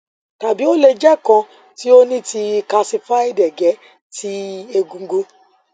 tabi o le jẹ kan ti o ni ti kalsified ege ti egungun